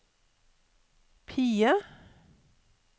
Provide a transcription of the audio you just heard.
PIE